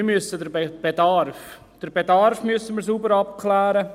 Wir müssen den Bedarf sauber abklären.